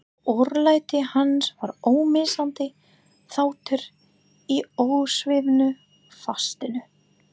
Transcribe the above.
Örlæti hans var ómissandi þáttur í ósvífnu fasinu.